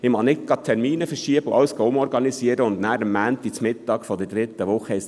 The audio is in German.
Ich mag keine Termine verschieben und alles umorganisieren, damit es dann am Montag der dritten Woche heisst: